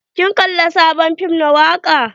Kin kalla sabon fim na waka?